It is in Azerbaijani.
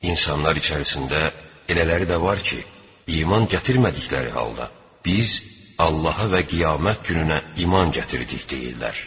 İnsanlar içərisində elələri də var ki, iman gətirmədikləri halda: “Biz Allaha və Qiyamət gününə iman gətirdik” – deyirlər.